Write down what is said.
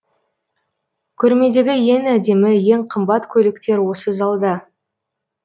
көрмедегі ең әдемі ең қымбат көліктер осы залда